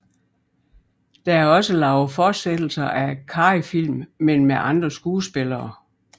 Der er også lavet fortsættelser af Carreyfilm men med andre skuespillere